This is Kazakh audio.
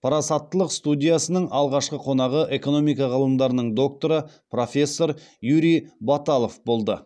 парасаттылық студиясының алғашқы қонағы экономика ғылымдарының докторы профессор юрий баталов болды